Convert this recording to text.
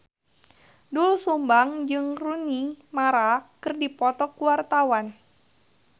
Doel Sumbang jeung Rooney Mara keur dipoto ku wartawan